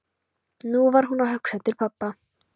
Nú var hún að hugsa til pabba.